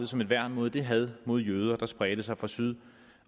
som et værn mod det had mod jøder der spredte sig fra syd